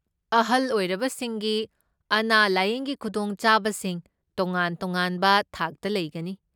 ꯑꯍꯜ ꯑꯣꯏꯔꯕꯁꯤꯡꯒꯤ ꯑꯅꯥ ꯂꯥꯢꯌꯦꯡꯒꯤ ꯈꯨꯗꯣꯡ ꯆꯥꯕꯁꯤꯡ ꯇꯣꯉꯥꯟ ꯇꯣꯉꯥꯟꯕ ꯊꯥꯛꯇ ꯂꯩꯒꯅꯤ꯫